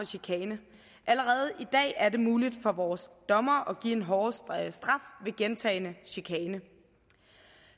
chikane allerede i dag er det muligt for vores dommere at give en hårdere straf ved gentagen chikane